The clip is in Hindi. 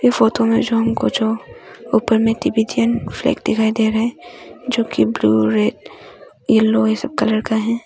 फोटो जो हमको जो उपर मे फ्लैग दिखाई दे रहा है जो की ब्लू रेड येलो ये सब कलर का है।